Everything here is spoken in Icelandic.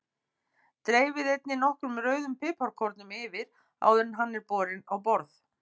Dreifið einnig nokkrum rauðum piparkornum yfir áður en hann er borinn á borð.